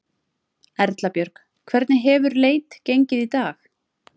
Erla Björg: Hvernig hefur leit gengið í dag?